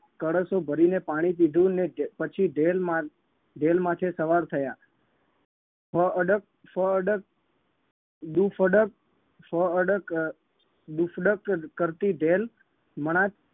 કળશો ભરીને પાણી પીધું ને પછી ઢેલ મા ઢેલ માથે સવાર થયા ફઅડક ફઅડક દુફડક ફઅડક અમ દુફડક કરતી ઢેલ મણાર